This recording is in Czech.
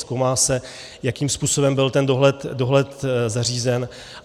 Zkoumá se, jakým způsobem byl ten dohled zařízen.